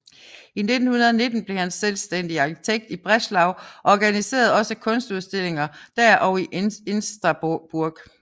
I 1919 blev han selvstændig arkitekt i Breslau og organiserede også kunstudstillinger der og i Insterburg